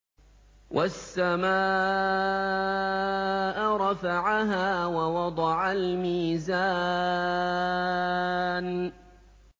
وَالسَّمَاءَ رَفَعَهَا وَوَضَعَ الْمِيزَانَ